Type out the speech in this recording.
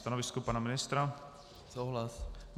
Stanovisko pana ministra?